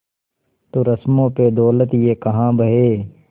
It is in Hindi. तो रस्मों पे दौलत ये काहे बहे